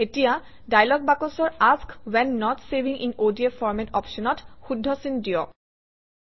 এতিয়া ডায়লগ বাকচৰ এএছকে when not saving in ODF format অপশ্যনত শুদ্ধ চিন দিয়ক